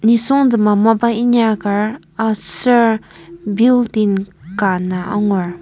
nisungtema mapa inyaker aser building ka ana angur.